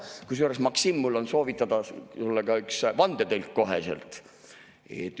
Kusjuures, Maksim, mul on soovitada ka üks vandetõlk koheselt.